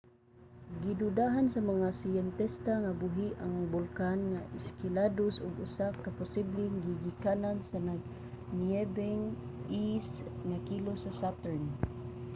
gidudahan sa mga siyentista nga buhi nga bulkan ang enceladus ug usa ka posibleng gigikanan sa nagniyebeng e nga likos sa saturn